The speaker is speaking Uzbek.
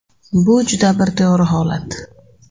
Bu juda bir to‘g‘ri holat.